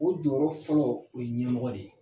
O jɔyɔrɔ fɔlɔ o ye ɲɛmɔgɔ de ye.